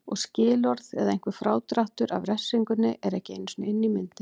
Og skilorð eða einhver frádráttur af refsingunni er ekki einu sinni inni í myndinni.